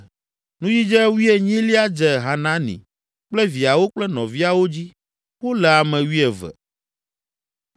Nudzidze wuienyilia dze Hanani kple viawo kple nɔviawo dzi; wole ame wuieve.